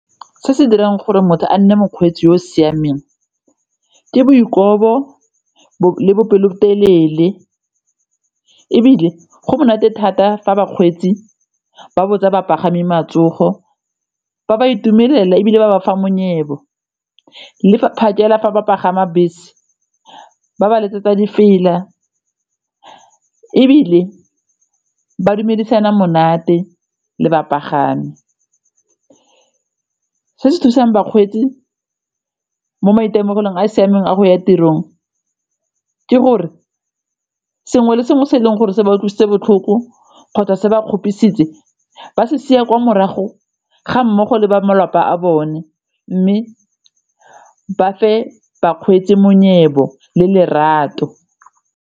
Se se dirang gore motho a nne mokgweetsi yo o siameng ke bo dikobo le bopelotelele ebile go monate thata fa bakgweetsi ba botsa bapagami matsogo, ba ba itumelela ebile ba ba fa monyebo le phakela fa ba pagama bese ba ba letsetsa difela ebile ba dumedisana monate le bapagami. Se se thusang bakgweetsi mo maitemogelong a siameng a go ya tirong ke gore sengwe le sengwe se e leng gore se ba o tlositswe botlhoko kgotsa se ba kgopisitse ba se sia kwa morago ga mmogo le ba malapa a bone mme ba fa bakgweetsi monyebo le lerato.